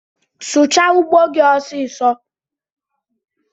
Sụchaa ugbo gi ọsịsọ